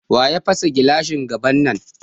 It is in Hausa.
Waya fasa gilashin gaban nan?